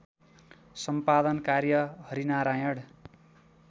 सम्पादन कार्य हरिनारायण